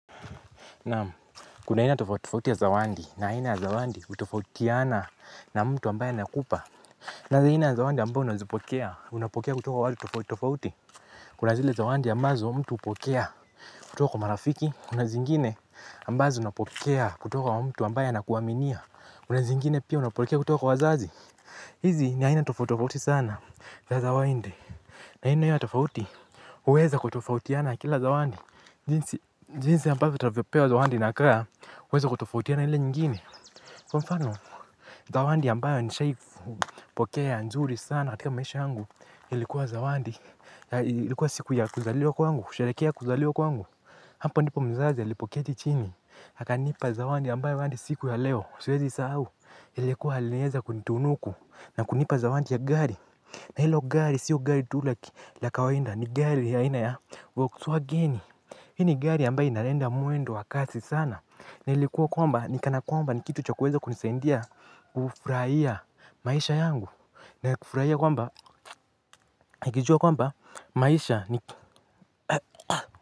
Naam kuna aina tofauti ya zawadi, na aina ya zawadi hutofautiana na mtu ambaya ana kupa kuna aina ya zawadi ambayo unazipokea unapokea kutoka wa watu tofauti tofauti. Kuna zile zawadi ambazo mtu hupokea kutoka wa marafiki. Kuna zingine ambazo unapokea kutoka wa mtu ambaye na kuaminia. Kuna zingine pia unapokea kutoka wa wazazi. Hizi ni aina tofauti tofauri sana za zawadi aina ya tofauti huweza kutofautiana na kila zawadi. Jinsi, jinsi ya ambavyo utavyopewa zawadi inakaa, huweza kutofautiana ile nyingine. Kwa mfano, zawadi ambayo nishawai pokea ya nzuri sana katika maisha yangu, ilikuwa zawadi, ilikuwa siku ya kuzaliwa kwangu, kusharehekea kuzaliwa kwangu. Hapa ndipo mzazi ya alipoketi chini, aka nipa zawadi ambayo hadi siku ya leo, siwezi isahau, ilikuwa aliweza kunitunuku, na kunipa zawadi ya gari. Na hilo gari, sio gari tu laki, la kawaida, ni gari ya aina ya, volkswagen hii ni gari ambayo inaenda meendo wa kasi sana na likuwa kwamba ni kana kwamba ni kitu cha kuweza kunisaidia kufurahia maisha yangu nakufurahia kwamba nikijua kwamba maisha ni.